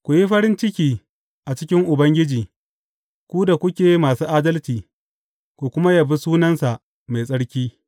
Ku yi farin ciki a cikin Ubangiji, ku da kuke masu adalci, ku kuma yabi sunansa mai tsarki.